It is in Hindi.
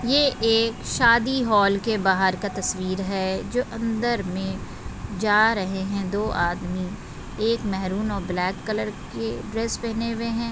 ये एक शादी हॉल के बहार का तस्वीर है जो अंदर में जा रहे है दो आदमी एक मेहरून और ब्लैक कलर के ड्रेस पहने हुए हैं।